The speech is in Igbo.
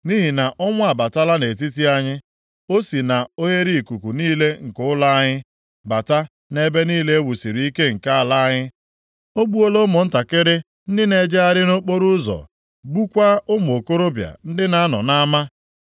Nʼihi na ọnwụ abatala nʼetiti anyị, o si na oghereikuku niile nke ụlọ anyị bata nʼebe niile e wusiri ike nke ala anyị. O gbuola ụmụntakịrị ndị na-ejegharị nʼokporoụzọ, gbukwaa ụmụ okorobịa ndị na-anọ nʼama.